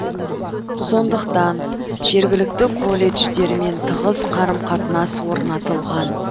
сондықтан жергілікті колледждермен тығыз қарым қатынас орнатылған